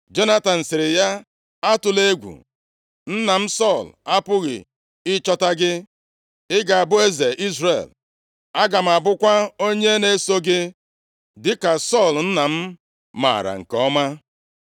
Jonatan sịrị ya, “Atụla egwu, nna m Sọl apụghị ịchọta gị. Ị ga-abụ eze Izrel. Aga m abụkwa onye na-eso gị dịka Sọl nna m maara nke ọma.”